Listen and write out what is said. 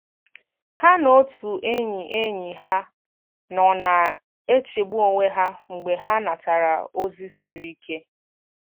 Ha na otu enyi enyi ha nọ na-echegbu onwe ha mgbe ha natara ozi siri ike.